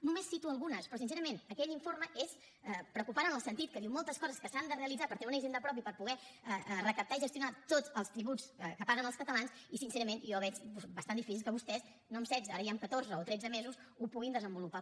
només en cito algunes però sincerament aquell informe és preocupant en el sentit que diu moltes coses que s’han de realitzar per tenir una hisenda pròpia i per poder recaptar i gestionar tots els tributs que paguen els catalans i sincerament jo veig bastant difícil que vostès no amb setze ara ja amb catorze o tretze mesos ho puguin desenvolupar